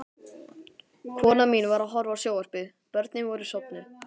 Konan mín var að horfa á sjónvarpið, börnin voru sofnuð.